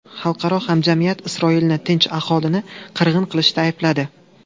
Xalqaro hamjamiyat Isroilni tinch aholini qirg‘in qilishda aybladi.